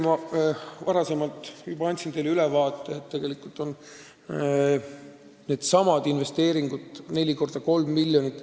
" Jällegi, ma juba andsin teile ülevaate, et meil on ette nähtud investeeringud neli korda 3 miljonit.